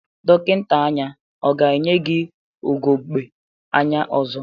Dọkịnta anya ọ ga-enye gi ugogbe anya ọzọ?